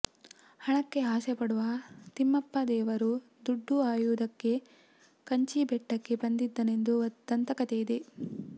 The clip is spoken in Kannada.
ಹಣಕ್ಕೆ ಆಸೆ ಪಡುವ ತಿಮ್ಮಪ್ಪ ದೇವರು ದುಡ್ಡು ಆಯುವುದಕ್ಕೆ ಕಂಚೀಬೆಟ್ಟಕ್ಕೆ ಬಂದಿದ್ದನೆಂದು ದಂತಕತೆ ಇದೆ